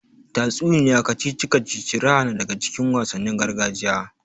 Tatsuniya, kacici kacici, raha na daga cikin wasannin gargajiya.